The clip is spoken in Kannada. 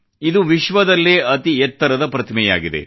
ಇದು ವಿಶ್ವದಲ್ಲೇ ಅತಿ ಎತ್ತರದ ಪ್ರತಿಮೆಯಾಗಿದೆ